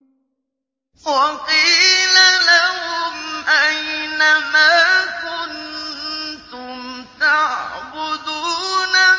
وَقِيلَ لَهُمْ أَيْنَ مَا كُنتُمْ تَعْبُدُونَ